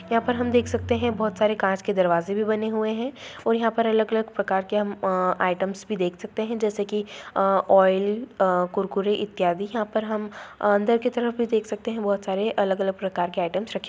यहाँ पर हम देख सकते हैं बोहोत सारे काँच के दरवाजे भी बने हुए हैं और यहाँ पर अलग-अलग प्रकार के हम आयटम्स भी देख सकते हैं जैसे कि अं ओइल अ कुरकुरे इत्यादि। यहाँ पर हम अंदर की तरफ देख सकते हैं बोहोत सारे अलग-अलग प्रकार के आयटम्स रखे --